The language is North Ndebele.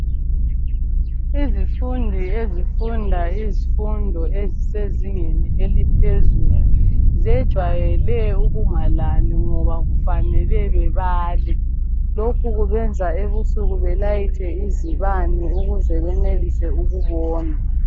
Izifundi ezifunda izifundo ezisezingeni eliphezulu zejwayele ukungalali ngoba kufanele bebale lokhu kubenza ebusuku belayithe izibani ukuze benelise ukubona.